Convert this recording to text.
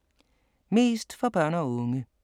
Mest for børn og unge